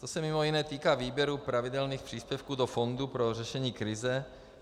To se mimo jiné týká výběru pravidelných příspěvků do Fondu pro řešení krize.